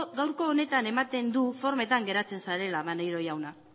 gaurko honetan ematen du formetan geratzen zarela maneiro jauna